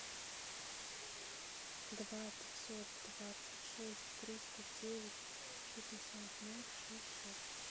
два пятьсот двадцать шесть триста девять шестьдесят ноль шесть шесть